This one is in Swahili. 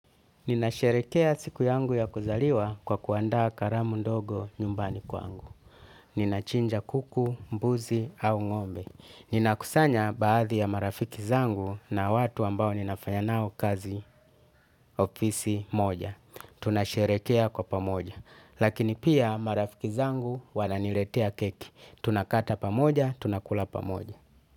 Ninasherehekea siku yangu ya kuzaliwa kwa kuandaa karamu ndogo nyumbani kwangu. Ninachinja kuku, mbuzi au ng'ombe. Ninakusanya baadhi ya marafiki zangu na watu ambao ninafanya nao kazi ofisi moja. Tunasherehekea kwa pamoja. Lakini pia marafiki zangu wananiletea keki. Tunakata pamoja, tunakula pamoja.